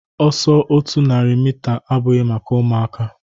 Ọsọ otu narị mita abụghị maka ụmụaka